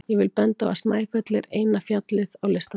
Ég vil benda á að Snæfell er eina fjallið á listanum.